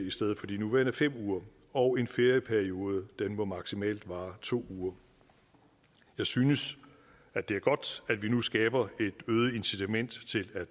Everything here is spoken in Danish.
i stedet for de nuværende fem uger og en ferieperiode må maksimalt vare to uger jeg synes at det er godt at vi nu skaber et øget incitament til at